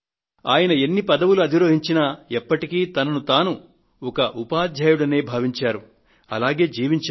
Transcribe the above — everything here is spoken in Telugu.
ఆయన ఎన్ని పదవులను అధిరోహించినా ఎప్పటికీ తనకు తాను ఒక ఉపాధ్యాయుడిననే భావించారు అలాగే జీవించారు